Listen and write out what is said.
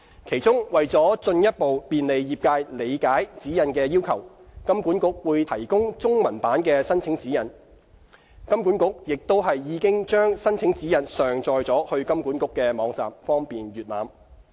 其中，為進一步便利業界理解指引的要求，金管局會提供中文版的申請指引。金管局並已將申請指引上載至金管局的網站，方便閱覽。